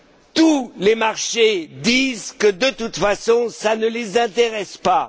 Tous les marchés nous disent que, de toute façon, ça ne les intéresse pas.